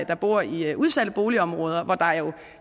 der bor i udsatte boligområder hvor der jo